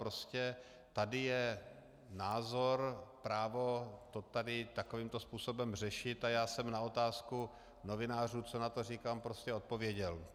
Prostě tady je názor, právo to tady takovýmto způsobem řešit a já jsem na otázku novinářů, co na to říkám, prostě odpověděl.